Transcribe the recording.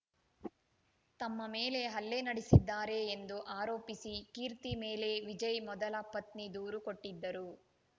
ತಮ್ಮ ಮೇಲೆ ಹಲ್ಲೆ ನಡೆಸಿದ್ದಾರೆ ಎಂದು ಆರೋಪಿಸಿ ಕೀರ್ತಿ ಮೇಲೆ ವಿಜಯ್‌ ಮೊದಲ ಪತ್ನಿ ದೂರು ಕೊಟ್ಟಿದ್ದರು